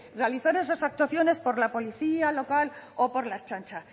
realizar esas actuaciones por la policía local o por la ertzaintza